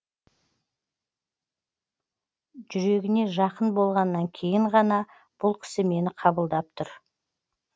жүрегіне жақын болғаннан кейін ғана бұл кісі мені қабылдап тұр